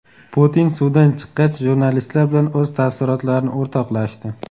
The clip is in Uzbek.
Putin suvdan chiqqach jurnalistlar bilan o‘z taassurotlarini o‘rtoqlashdi.